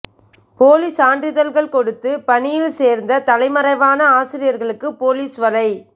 போலி சான்றிதழ்கள் கொடுத்து பணியில் சோ்ந்து தலைமறைவான ஆசிரியா்களுக்கு போலீஸ் வலை